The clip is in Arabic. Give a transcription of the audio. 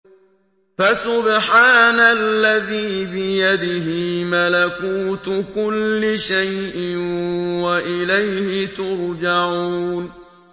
فَسُبْحَانَ الَّذِي بِيَدِهِ مَلَكُوتُ كُلِّ شَيْءٍ وَإِلَيْهِ تُرْجَعُونَ